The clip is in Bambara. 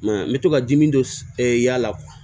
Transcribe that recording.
Ma n bɛ to ka dimi dɔ y'a la